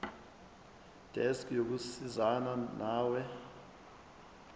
desk yokusizana nawe